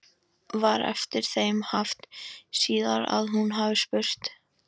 Var eftir þeim haft síðar að hún hafi spurt